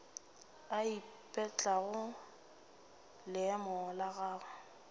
a ipetlelago leemo la gagwe